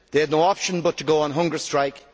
they had no option but to go on hunger strike.